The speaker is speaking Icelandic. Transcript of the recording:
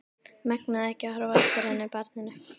Megnaði ekki að horfa á eftir henni, barninu.